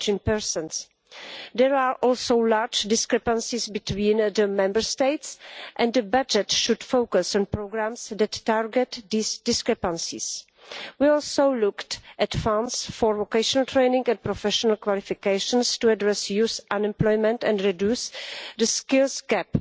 19. There are also large discrepancies between Member States, and the budget should focus on programmes that target these discrepancies. We also looked at funds for vocational training and professional qualifications to address youth unemployment and reduce the skills gap